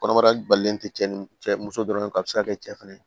Kɔnɔbara balolen tɛ cɛ ni cɛ muso dɔrɔn a bɛ se ka kɛ cɛ fɛnɛ